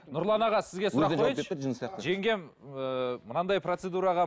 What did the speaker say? нұрлан аға сізге жеңгем ыыы мынандай процедураға